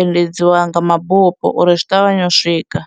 endedziwa nga mabufho uri zwi ṱavhanye u swika.